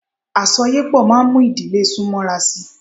Àsọyépọ̀ máa mú ìdílé sún mọ́ra sí.